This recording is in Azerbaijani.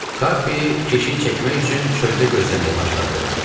Kapi keşik çəkmək üçün çöldə gözləməyə başladı.